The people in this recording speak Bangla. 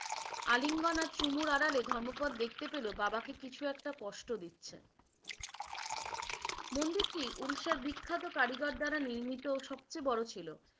আলিঙ্গন আর চুমুর আড়ালে ধম্মপদ দেখতে পেলো বাবাকে কিছু একটা কষ্ট দিচ্ছে। । মন্দিরটি উড়িষ্যার বিখ্যাত কারিগর দ্বারা নির্মিত সবচেয়ে বড় ছিলো।